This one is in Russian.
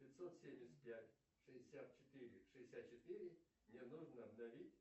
пятьсот семьдесят пять шестьдесят четыре шестьдесят четыре мне нужно обновить